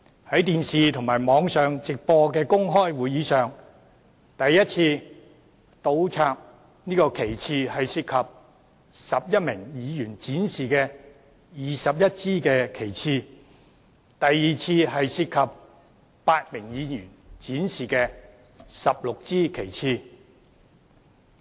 從電視和網上直播的公開會議片段所見，第一次倒插旗幟涉及11名議員展示的21支旗幟，而第二次則涉及8名議員展示的16支旗幟。